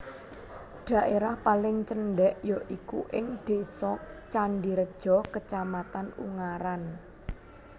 Dhaérah paling cendhèk ya iku ing Désa Candireja Kacamatan Ungaran